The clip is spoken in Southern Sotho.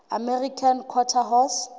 american quarter horse